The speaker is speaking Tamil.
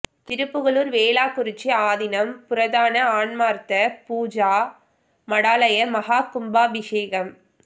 திருப்புகலூா் வேளாக்குறிச்சி ஆதீனம் புராதான ஆன்மாா்த்த பூஜா மடாலய மகா கும்பாபிஷேகம்